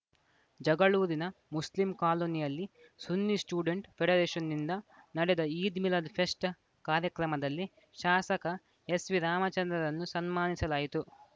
ಜಗಳೂರಿನ ಮುಸ್ಲಿಂ ಕಾಲೋನಿಯಲ್ಲಿ ಸುನ್ನಿ ಸ್ಟೂಡೆಂಟ್‌ ಫೆಡರೇಷನ್‌ನಿಂದ ನಡೆದ ಈದ್‌ ಮಿಲಾದ್‌ ಫೆಸ್ಟ್‌ ಕಾರ್ಯಕ್ರಮದಲ್ಲಿ ಶಾಸಕ ಎಸ್‌ವಿ ರಾಮಚಂದ್ರರನ್ನು ಸನ್ಮಾನಿಸಲಾಯಿತು